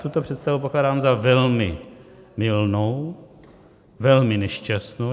Tuto představu pokládám za velmi mylnou, velmi nešťastnou.